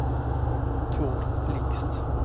Tord Blixt